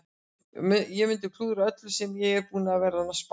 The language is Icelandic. Ég mundi klúðra öllu sem ég er búinn að vera að spá í.